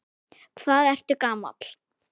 Hvað ertu gamall?